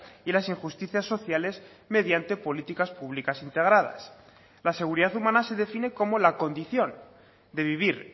y las injusticias sociales mediante políticas públicas integradas la seguridad humana se define como la condición de vivir